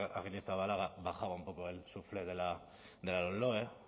arrizabalaga bajaba un poco el suflé de la lomloe